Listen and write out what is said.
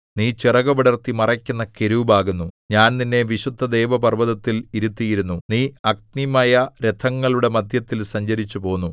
നീ ചിറകുവിടർത്തി മറയ്ക്കുന്ന കെരൂബ് ആകുന്നു ഞാൻ നിന്നെ വിശുദ്ധദേവപർവ്വതത്തിൽ ഇരുത്തിയിരുന്നു നീ അഗ്നിമയരഥങ്ങളുടെ മദ്ധ്യത്തിൽ സഞ്ചരിച്ചുപോന്നു